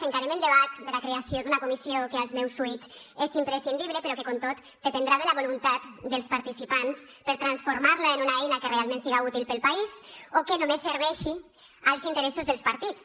encarem el debat de la creació d’una comissió que als meus oïts és imprescindible però que com tot dependrà de la voluntat dels participants per transformar la en una eina que realment siga útil per al país o que només serveixi als interessos dels partits